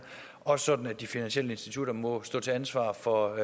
også sådan at de finansielle institutter må stå til ansvar for